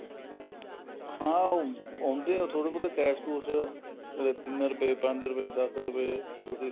ਹਾਂ ਆਉਂਦੇ ਐ ਥੋੜੇ ਬਹੁਤ cash ਕੂਸ਼ ਕਦੇ ਤਿੰਨ ਰੂਪਏ ਪੰਜ ਰੂਪਏ ਦਸ ਰੂਪਏ ਕੁੱਝ ਇਸ ਤਰ੍ਹਾਂ